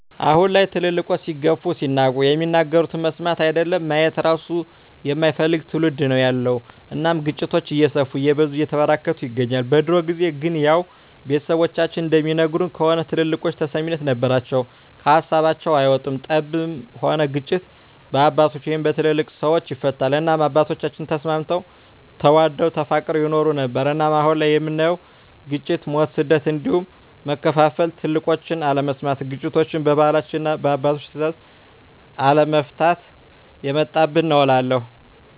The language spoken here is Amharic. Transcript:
አሁን ላይ ትልልቆች ሲገፉ ሲናቁ የሚናገሩትን መስማት አይደለም ማየት እራሱ የማይፈልግ ትዉልድ ነዉ ያለዉ እናም ግጭቶች እየሰፉ እየበዙ እየተበራከቱ ይገኛል። በድሮ ጊዜ ግን ያዉ ቤተሰቦቻችን እንደሚነግሩን ከሆነ ትልልቆች ተሰሚነት ነበራቸዉ ከሀሳባቸዉ አይወጡም ጠብም ሆነ ግጭት በአባቶች(በትልልቅ ሰወች) ይፈታል እናም አባቶቻችን ተስማምተዉ ተዋደዉ ተፋቅረዉ ይኖሩ ነበር። እናም አሁን ላይ የምናየዉ ግጭ፣ ሞት፣ ስደት እንዲሁም መከፋፋል ትልቆችን አለመስማት ግጭቶችችን በባህላችንና እና በአባቶች ትእዛዝ አለመፍታት የመጣብን ነዉ እላለሁ።